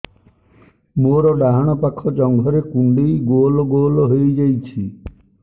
ମୋର ଡାହାଣ ପାଖ ଜଙ୍ଘରେ କୁଣ୍ଡେଇ ଗୋଲ ଗୋଲ ହେଇଯାଉଛି